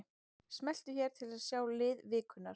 Smelltu hér til að sjá lið vikunnar